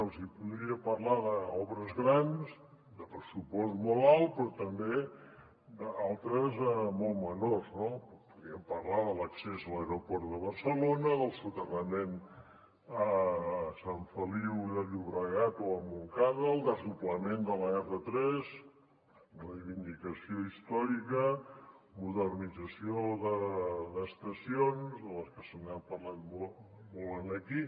els hi podria parlar d’obres grans de pressupost molt alt però també d’altres molt menors no podríem parlar de l’accés a l’aeroport de barcelona del soterrament a sant feliu de llobregat o a montcada el desdoblament de l’r3 reivindicació històrica modernització d’estacions de les que s’ha parlat molt aquí